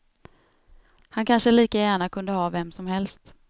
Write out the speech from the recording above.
Han kanske lika gärna kunde ha vem som helst.